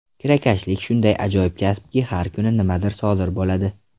Kirakashlik shunday ajoyib kasbki, har kuni nimadir sodir bo‘ladi.